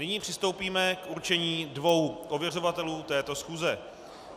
Nyní přistoupíme k určení dvou ověřovatelů této schůze.